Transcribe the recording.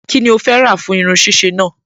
Kí ni o fẹ́ rà fún irun ṣíṣe náà?